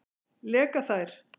Leka þær?